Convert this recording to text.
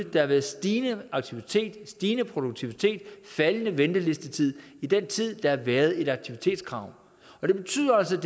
at der har været stigende aktivitet stigende produktivitet og faldende ventelistetid i den tid der har været et aktivitetskrav og det betyder altså at